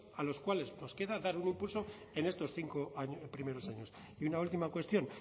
a los cuales nos queda dar un impulso en estos cinco primeros años y una última cuestión